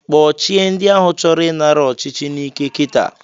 Kpochie ndi ahụ chọrọ ị nara ọchichi n'ike kita.